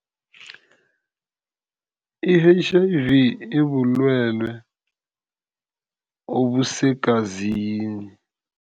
I-H_I_V ibulwelwe obusegazini.